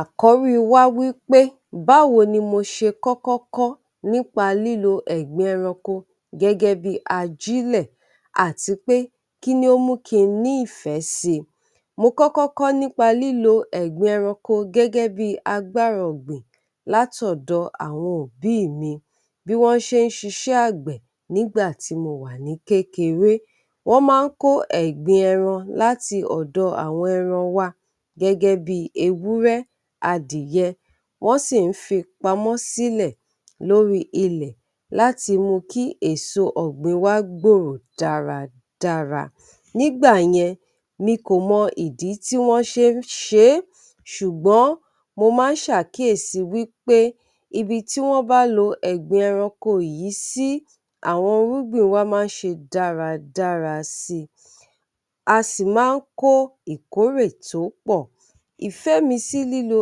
Àkọ́rí wa wí pé báwo ni mo ṣe kọ́kọ́ kọ́ nípa lílo ẹ̀gbin ẹranko gẹ́gẹ́ bí i ajílẹ̀, àti pé kí ni ó mú ki n ní ìfẹ́ sí i. Mo kọ́kọ́ kọ́ nípa lílo ẹ̀gbin ẹranko gẹ́gẹ́ bí agbára ọ̀gbìn láti ọ̀dọ̀ àwọn òbí mi, bí wọ́n ṣe ń ṣiṣẹ́ àgbẹ̀ nígbà tí mo wà ní kékeré. Wọ́n máa ń kó ẹ̀gbin ẹran láti ọ̀dọ̀ àwọn ẹran wa gẹ́gẹ́ bí i ewúrẹ́, adìyẹ, wọ́n sì ń fi pamọ́ sílẹ̀ lórí ilẹ̀ láti mú u kí èso ọ̀gbìn wa gbòòrò dáradára. Nígbàyẹn, mi kò mọ ìdí tí wọ́n ṣe ń ṣe é, ṣùgbọ́n mo máa ń ṣàkíyèsí wí pé ibi tí wọ́n bá lo ẹ̀gbin ẹranko yìí sí, àwọn irúgbìn wa máa ń ṣe dáradára sí i, a sì máa ń kó ìkórè tó pọ̀. Ìfẹ́ mi sí lílo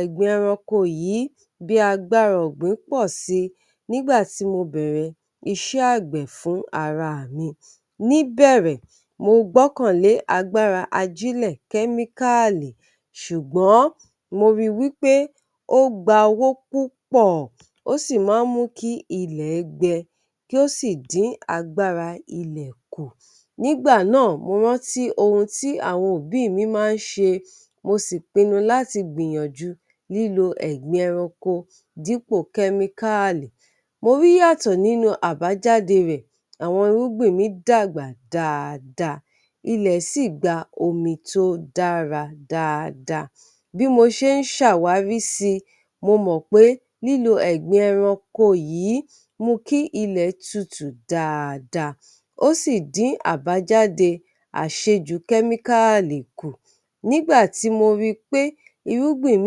ẹ̀gbin ẹranko yìí bí agbára ọ̀gbìn pò sí i nígbà tí mo bẹ̀rẹ̀ iṣẹ́ àgbẹ̀ fún ara mi. Ní ìbẹ̀rẹ̀, mo gbọ́kànlé agbára ajílẹ̀ kẹ́míkáàlì, ṣùgbọ́n mo ri wí pé ó gba owó púpọ̀, ó sì máa ń mú kí ilẹ̀ gbẹ, kí ó sì dín agbára ilẹ̀ kù. Nígbà náà mo rántí ohun tí àwọn òbí mi máa ń ṣe, mo sì pinnu láti gbìyànjú lílo ẹ̀gbin ẹranko dípò kẹ́míkáàlì. Mo rí ìyàtọ̀ nínú àbájáde rẹ̀, àwọn irúgbìn mi dàgbà dáadáa, ilẹ̀ sì gba omi tó dára dáadáa. Bí mo ṣe ń ṣàwárí si, mo mọ̀ pé lílo ẹ̀gbin ẹranko yìí mú kí ilẹ̀ tutù dáadáa, ó sì dín àbájáde àṣejù kẹ́míkáàlì kù. Nígbà tí mo ri pé irúgbìn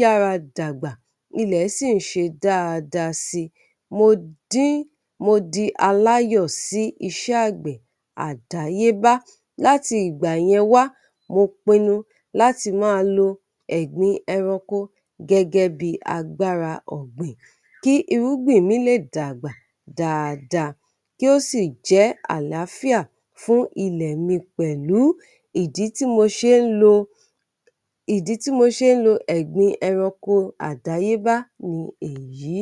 yára dàgbà, ilẹ̀ sì ń ṣe dáadáa si, mo dín, mo di aláyọ̀ sí iṣẹ́ àgbẹ̀ àdáyébá. Láti ìgbà yẹn wá, mo pinnu láti máa lo ẹ̀gbin ẹranko gẹ́gẹ́ bí agbára ọ̀gbìn, kí irúgbìn mi lè dàgbà dáadáa, kí ó sì jẹ́ àlàáfíà fún ilẹ̀ mi pẹ̀lú. Ìdí tí mo ṣe ń lo, ìdí tí mo ṣe ń lo ẹ̀gbin ẹranko àdáyébá ni èyí.